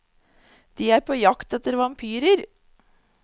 De er på jakt etter vampyrer.